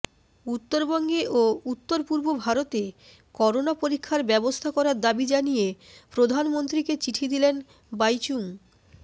উত্তরবঙ্গে ও উত্তর পূর্ব ভারতে করোনা পরীক্ষার ব্যবস্থা করার দাবি জানিয়ে প্রধানমন্ত্রীকে চিঠি দিলেন বাইচুং